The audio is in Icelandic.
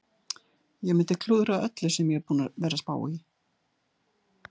Ég mundi klúðra öllu sem ég er búinn að vera að spá í.